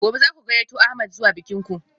Gobe ​​zaku gayyato ahmed zuwa bikin ku?